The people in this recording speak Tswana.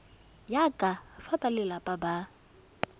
ya ka fa balelapa ba